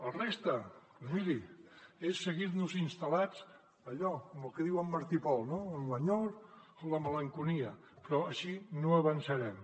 la resta doncs miri és seguir instal·lats en allò en el que diu en martí i pol no en l’enyor en la malenconia però així no avançarem